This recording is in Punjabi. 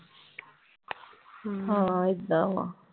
ਹਾਂ ਏਦਾਂ ਵਾਂ।